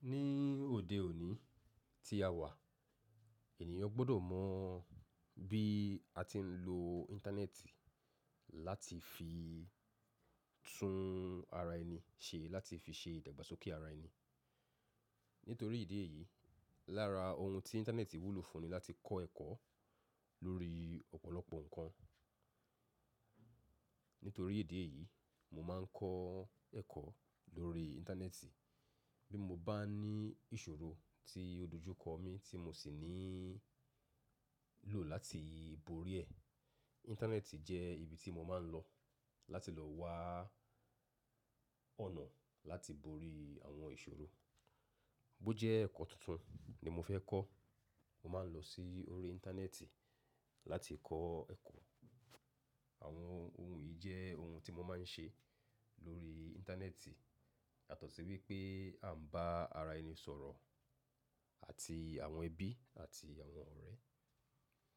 Ní òde òní tí a wà, ènìyàn gbọ́dọ̀ mọ̀ bí a ti ń lo Íńtánẹ́ẹ̀tì láti fi tún ara ẹni ṣe, láti fi ṣe ìdàgbàsókè ara ẹni. Nítorí ìdí èyí, lára ohun tí Íńtánẹ́ẹ̀tì wúlò fún ni láti kọ́ ẹ̀kọ́ lórí ọ̀pọ̀lọpọ̀ ǹkan. Nítorí ìdí èyí, mo máa ń kọ́ ẹ̀kọ́ lórí Íńtánẹ́ẹ̀tì. Bí mo bá ní ìṣòro tí o dojúkọ mi tí mo sì ní ń lò láti borí ẹ. Íńtánẹ́ẹ̀tì jẹ́ ibi tí mo máa ń lọ láti lọ wa ọ̀nà láti borí àwọn ìṣòro. Bó jẹ́ ẹ̀kọ́ tuntun ni mo fẹ́ kọ́, mo máa ń lọ sí orí Íńtánẹ́ẹ̀tì láti kọ́ ẹ̀kọ́. Àwọn ohun yìí jẹ́ ohun tí mo máa ń ṣe lórí Íńtánẹ́ẹ̀tì. Bó jẹ́ ẹ̀kọ́ tuntun ni mo fẹ́ kọ́, mo máa ń lọ sí orí Íńtánẹ́ẹ̀tì láti kọ́ ẹ̀kọ́.